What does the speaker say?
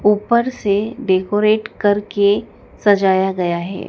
ऊपर से डेकोरेट करके सजाया गया है।